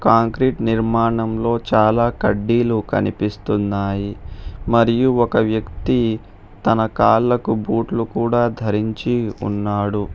Concrete నిర్మాణంలో చాలా కడ్డీలు కనిపిస్తున్నాయి మరియు ఒక వ్యక్తి తన కాళ్ళకు బూట్లు కూడా ధరించి ఉన్నాడు.